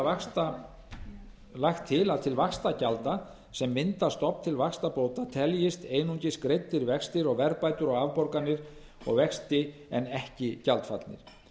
því er lagt til að til vaxtagjalda sem mynda stofn til vaxtabóta teljist einungis greiddir vextir og verðbætur á afborganir og vexti en ekki gjaldfallnir